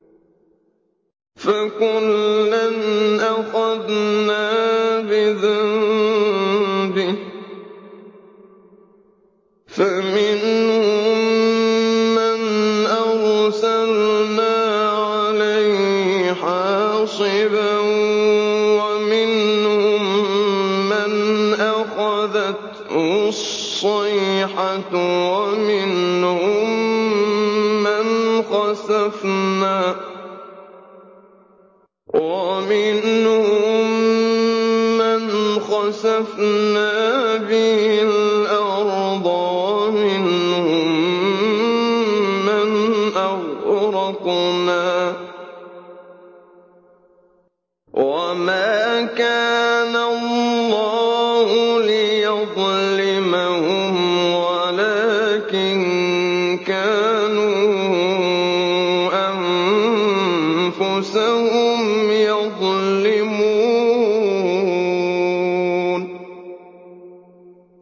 فَكُلًّا أَخَذْنَا بِذَنبِهِ ۖ فَمِنْهُم مَّنْ أَرْسَلْنَا عَلَيْهِ حَاصِبًا وَمِنْهُم مَّنْ أَخَذَتْهُ الصَّيْحَةُ وَمِنْهُم مَّنْ خَسَفْنَا بِهِ الْأَرْضَ وَمِنْهُم مَّنْ أَغْرَقْنَا ۚ وَمَا كَانَ اللَّهُ لِيَظْلِمَهُمْ وَلَٰكِن كَانُوا أَنفُسَهُمْ يَظْلِمُونَ